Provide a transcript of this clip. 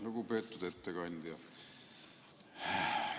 Lugupeetud ettekandja!